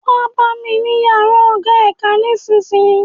Wá bá mi ní yàrá ọ̀gá ẹ̀ka nísisìyìí